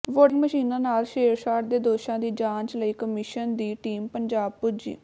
voting ਮਸ਼ੀਨਾਂ ਨਾਲ ਛੇੜਛਾੜ ਦੇ ਦੋਸ਼ਾਂ ਦੀ ਜਾਂਚ ਲਈ ਕਮਿਸ਼ਨ ਦੀ ਟੀਮ ਪੰਜਾਬ ਪੁੱਜੀ